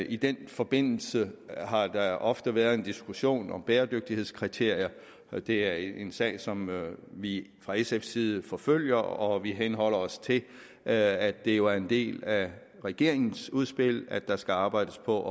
i den forbindelse har der ofte været en diskussion om bæredygtighedskriterier og det er en sag som vi fra sfs side forfølger og vi henholder os til at det jo er en del af regeringens udspil at der skal arbejdes på at